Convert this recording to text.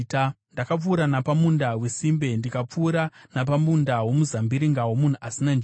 Ndakapfuura napamunda wesimbe, ndikapfuura napamunda womuzambiringa womunhu asina njere;